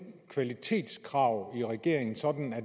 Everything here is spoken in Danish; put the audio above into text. kvalitetskrav regeringen så